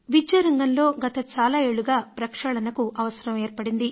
విద్యారంగంలో గత చాలా ఏళ్లుగా ప్రక్షాళనకు అవసరం ఏర్పడింది